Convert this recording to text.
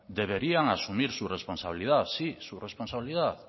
deberían asumir su responsabilidad sí su responsabilidad